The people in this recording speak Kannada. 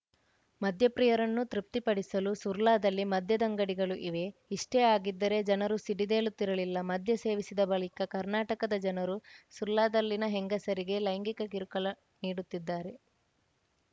ಮದ್ಯಪ್ರಿಯರನ್ನು ತೃಪ್ತಿಪಡಿಸಲು ಸುರ್ಲಾದಲ್ಲಿ ಮದ್ಯದಂಗಡಿಗಳು ಇವೆ ಇಷ್ಟೇ ಆಗಿದ್ದರೆ ಜನರು ಸಿಡಿದೇಳುತ್ತಿರಲಿಲ್ಲ ಮದ್ಯ ಸೇವಿಸಿದ ಬಳಿಕ ಕರ್ನಾಟಕದ ಜನರು ಸುರ್ಲಾದಲ್ಲಿನ ಹೆಂಗಸರಿಗೆ ಲೈಂಗಿಕ ಕಿರುಕುಳ ನೀಡುತ್ತಿದ್ದಾರೆ